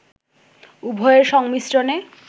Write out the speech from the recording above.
উভয়ের সংমিশ্রণে